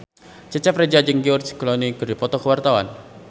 Cecep Reza jeung George Clooney keur dipoto ku wartawan